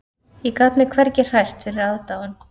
Ég gat mig hvergi hrært fyrir aðdáun